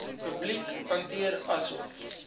publiek hanteer asof